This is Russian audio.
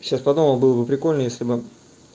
сейчас подумал было бы прикольно если бы